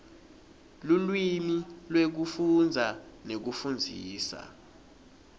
lulwimi lwekufundza nekufundzisa